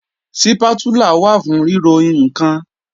Sípátúlà wà fún ríro ǹkan